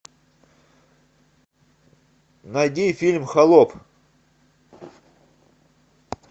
найди фильм холоп